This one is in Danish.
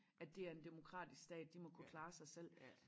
At det er en demokratisk stat de må kunne klare sig selv